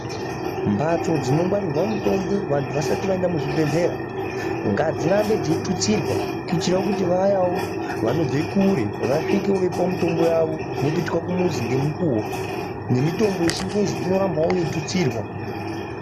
Mbatso dzongwarirwa mutombo vandu vasati vaenda kuzvibhehlera ngadzirambe dzeitutsirwa kuitirawo kuti vayawo vanobva kure vasvikewo veipuwa mutombo yavo vopetuka kumuzi ngemukuwo nemutombo yechingezi inorambawo yeitutsirwa